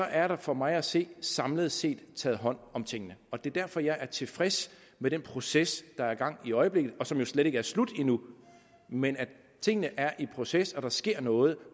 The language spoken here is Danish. er der for mig at se samlet set taget hånd om tingene og det er derfor jeg er tilfreds med den proces der er i gang i øjeblikket og som jo slet ikke er slut endnu men tingene er i proces der sker noget